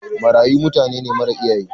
Marayu mutanene mara iyaye.